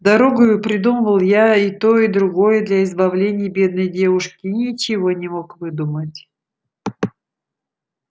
дорогою придумывал я и то и другое для избавления бедной девушки и ничего не мог выдумать